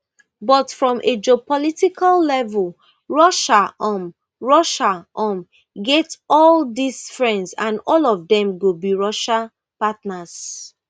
but from a geopolitical level russia um russia um get all dis friends and all of dem go be russia partners